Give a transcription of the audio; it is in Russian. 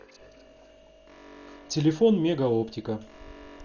телефон мегаоптика